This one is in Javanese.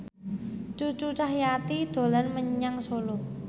Cucu Cahyati dolan menyang Solo